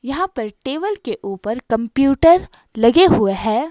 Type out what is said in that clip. यहां पर टेबल के ऊपर कंप्यूटर लगे हुए हैं।